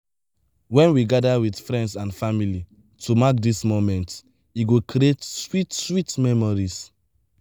wen we gather with friends and family to mark these moments e go create sweet sweet memories.